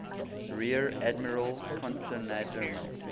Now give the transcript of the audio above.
rear admiral konteradmiral